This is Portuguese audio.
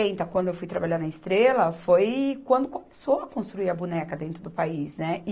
quando eu fui trabalhar na Estrela, foi quando começou a construir a boneca dentro do país, né